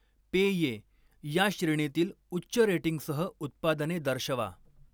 पेये या श्रेणीतील उच्च रेटिंगसह उत्पादने दर्शवा.